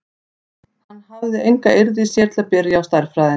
Hann hafði enga eirð í sér til að byrja á stærðfræðinni.